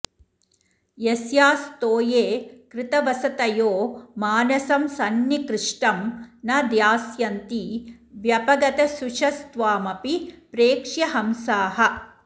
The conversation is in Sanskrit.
यस्यास्तोये कृतवसतयो मानसं संनिकृष्टं न ध्यास्यन्ति व्यपगतशुचस्त्वामपि प्रेक्ष्य हंसाः